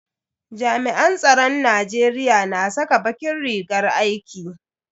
Jami'an tsaron Najeriya na saka bakin rigar aiki.